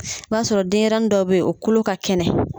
N'o y'a sɔrɔ denyɛrɛnin dɔ bɛ ye o kolo ka kɛnɛ.